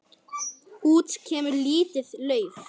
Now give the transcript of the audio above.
Út kemur lítið lauf.